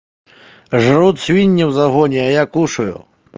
жрут свиньи в загоне я кушаю